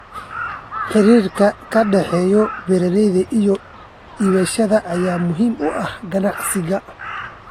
Xiriirka ka dhexeeya beeralayda iyo iibsadayaasha ayaa muhiim u ah ganacsiga.